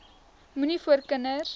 moenie voor kinders